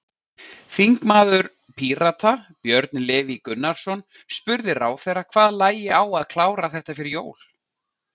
Þingmaður Pírata, Björn Leví Gunnarsson, spurði ráðherra hvað lægi á að klára þetta fyrir jól?